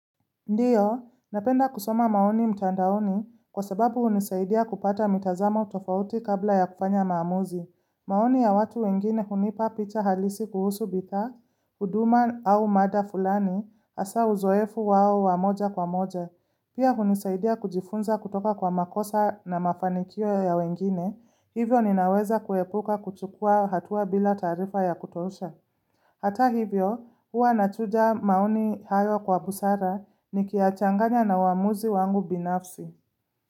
Ndiyo, napenda kusoma maoni mtandaoni kwa sababu inisaidia kupata mitazamo tofauti kabla ya kufanya maamuzi. Maoni ya watu wengine hunipa picha halisi kuhusu bidhaa, huduma au mada fulani, asa uzoefu wa hao wa. Moja kwa moja. Pia hunisaidia kujifunza kutoka kwa makosa na mafanikio ya wengine, hivyo ninaweza kuepuka kuchukua hatua bila taarifa ya kutosha. Hata hivyo, huwa nachuja maoni hayo kwa busara nikiyachanganya na uamuzi wangu binafsi.